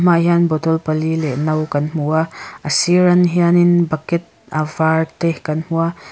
hian bottle pali leh no kan hmu a a siran hianin bucket a var te kan hmu a.